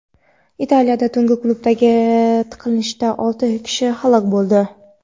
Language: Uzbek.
Italiyada tungi klubdagi tiqilinchda olti kishi halok bo‘ldi.